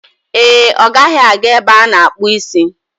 Ee e, ọ gaghị aga ebe ana-akpu isi